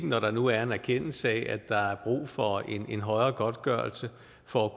når der nu er en erkendelse af at der er brug for en højere godtgørelse for